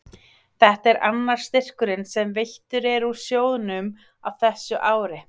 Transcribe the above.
þetta er annar styrkurinn sem veittur er úr sjóðnum á þessu ári